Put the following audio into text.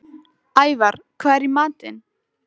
Ævarr, hvað er í matinn?